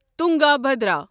Tungabhadra